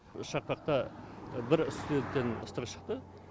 шақпақта бір студенттен ыстығы шықты